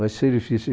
Vai ser difícil.